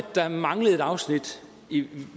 der manglede et afsnit